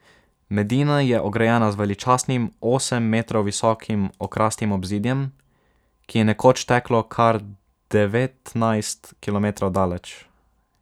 Medina je ograjena z veličastnim osem metrov visokim okrastim obzidjem, ki je nekoč teklo kar devetnajst kilometrov daleč.